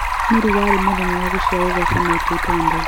nĩ rĩ warĩ mũthenya wa gũcĩarwo gwa Sanapei Tande